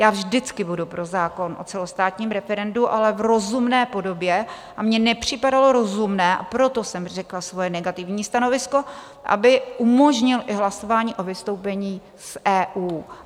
Já vždycky budu pro zákon o celostátním referendu, ale v rozumné podobě, a mně nepřipadalo rozumné, a proto jsem řekla svoje negativní stanovisko, aby umožnil i hlasování o vystoupení z EU.